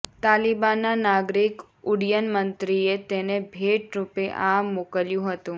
તાલિબાનના નાગરિક ઉડ્ડયન મંત્રીએ તેને ભેટ રૃપે આ મોકલ્યું હતું